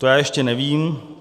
- To já ještě nevím.